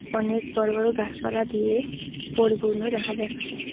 অনেক বড় বড় গাসপালা দিয়ে পরিপূর্ণ দেখা যাচ্ছে।